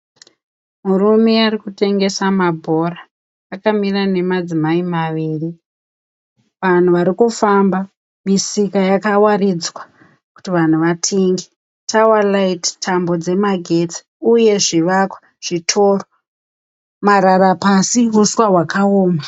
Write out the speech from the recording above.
Murume arikutengesa mabhora akamira nemadzimai maviri. Vanhu varikufamba, misika yakawaridzwa kuti vanhu vatenge, tower light tambo dzemagetsi uye zvivakwa, zvitoro marara pasi uswa hwakaoma.